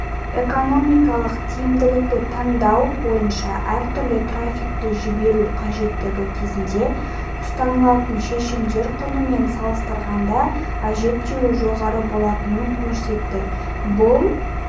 экономикалық тиімділікті таңдау бойынша әртүрлі трафикті жіберу қажеттігі кезінде ұсынылатын шешімдер құны мен салыстырғанда әжептеуір жоғары болатынын көрсетті бұл